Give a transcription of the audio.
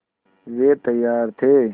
वे तैयार थे